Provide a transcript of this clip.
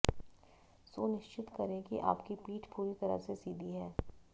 सुनिश्चित करें कि आपकी पीठ पूरी तरह से सीधी है